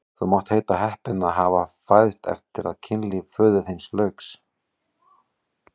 Þú mátt heita heppinn að hafa fæðst eftir að kynlífi föður þíns lauk!